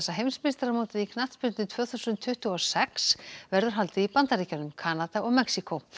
heimsmeistaramótið í knattspyrnu tvö þúsund tuttugu og sex verður haldið í Bandaríkjunum Kanada og Mexíkó